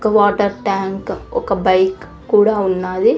ఒక water tank ఒక bike కూడా ఉన్నాది.